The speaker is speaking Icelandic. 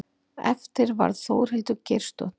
Eftir varð Þórhildur Geirsdóttir.